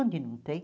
não tem?